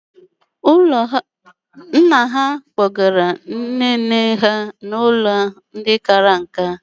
Nna ha kpọgara nne nna ha n'ụlọ ndị kara nka.